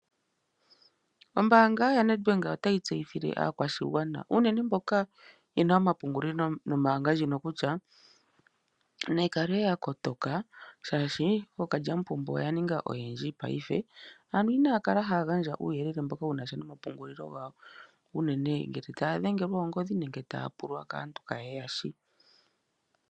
Ombaanga ya Ned bank otayi tseyi thile aakwashigwana uunene mboka yena omapungulilo no mbaanga ndjino kutya , naya kale ya kotoka shashi okandja mupombo oya ninga oyendji paife ano ina ya kala haya ga ndja uuyelele mboka wuna no ma pungukilo ga wo ngele taya dhengelwa kaantu ka ye yashi.